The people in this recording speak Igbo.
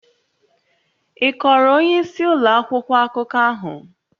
Ị kọọrọ onyeisi ụlọ akwụkwọ akụkọ ahụ?